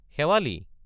শেৱালি!